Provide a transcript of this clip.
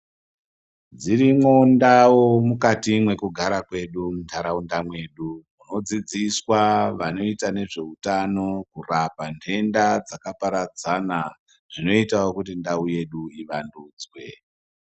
Dzirimwo ndau mukati mweku gara kwedu mu ndaraunda mwedu tino dzidziswa vanoita nezve utano kurapa dhenda dzaka paradzana zvinoitawo kuti ndau yedu iwandudzwe.